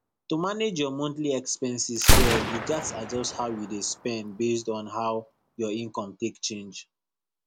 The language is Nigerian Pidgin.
to manage your monthly expenses well you gats adjust how you dey spend based on how your income take change